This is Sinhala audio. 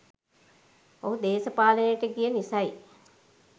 ඔහු දේශපාලනයට ගිය නිසයි.